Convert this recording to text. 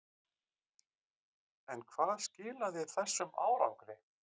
En hvað skilaði þessum árangri?